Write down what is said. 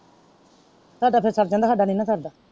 ਤੁਹਾਡਾ ਫੇਰ ਸਰ ਜਾਂਦਾ ਸਾਡਾ ਨੀ ਨਾ ਸਰਦਾ।